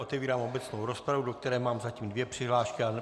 Otevírám obecnou rozpravu, do které mám zatím dvě přihlášky.